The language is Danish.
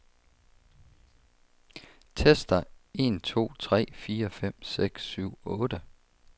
Tester en to tre fire fem seks syv otte.